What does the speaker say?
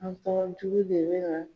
An tɔgɔ jugu de bɛ na